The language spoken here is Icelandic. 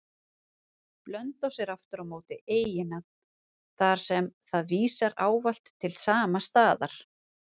Blönduós er aftur á móti eiginnafn, þar sem það vísar ávallt til sama staðar.